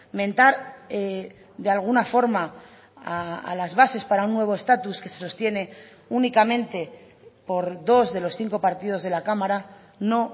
mentar de alguna forma a las bases para un nuevo estatus que se sostiene únicamente por dos de los cinco partidos de la cámara no